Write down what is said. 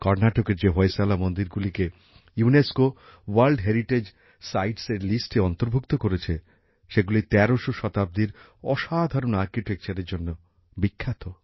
কর্নাটকের যে হোয়শালা মন্দিরগুলি ইউনেস্কোর ওয়ার্ল্ড হেরিটেজ সাইটসের তালিকায় অন্তর্ভুক্ত করেছে সেগুলি তেরশো শতাব্দীর অসাধারন স্থাপত্যের জন্য বিখ্যাত